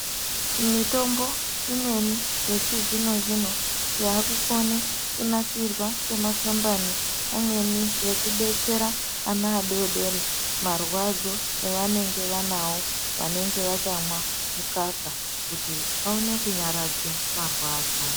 Mitombo imweni yechizvino zvino yakukone kunasirwa ngemakambani amweni yekudetsera ana adodori marwadzo avanenge vanawo vanenge vachamwa mukaka kuti vaone kunyaradze marwadzo.